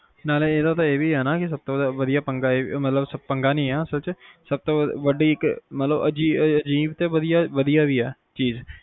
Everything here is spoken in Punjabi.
ਨਾਲੇ ਏਦਾ ਤਾ ਇਹ ਵੀ ਆ ਨਾ ਕੇ ਸਬ ਤੋਂ ਵਧੀਆ ਪੰਗਾ ਮਤਲਬ ਪੰਗਾ ਨਹੀਂ ਆ ਸਬ ਤੋਂ ਵੱਡੀ ਇੱਕ ਸਬ ਤੋਂ ਅਜੀਬ ਤੇ ਵਧੀਆ ਮਤਲਬ ਵਧੀਆ ਵੀ ਏ